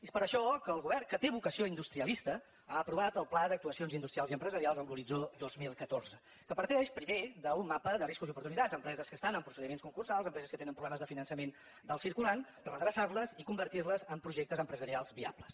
és per això que el govern que té vocació industrialista ha aprovat el pla d’actuacions industrials i empresarials amb l’horitzó dos mil catorze que parteix primer d’un mapa de riscos d’oportunitats empreses que estan en procediments concursals empreses que tenen problemes de finançament del circulant redreçar les i convertir les en projectes empresarials viables